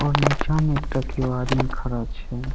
और नीचे मे एकटा कियो आदमी खड़ा छै।